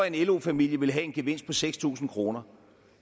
en lo familie have en gevinst på seks tusind kroner